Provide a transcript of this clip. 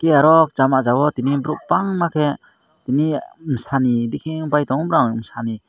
tai oro chama ja o tini borok bangma ke tini Sani reeki bai tongo bro sani.